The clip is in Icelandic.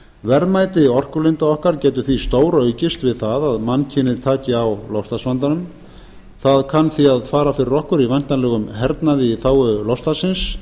verðmæti orkulinda okkar getur þá stóraukist við það að mannkynið taki á loftslagsvandanum það kann því að fara fyrir okkur í væntanlegum hernaði í þágu loftslagsins